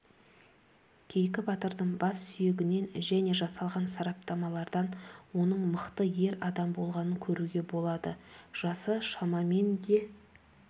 кейкі батырдың бассүйегінен және жасалған сараптамалардан оның мықты ер адам болғанын көруге болады жасы шамамен де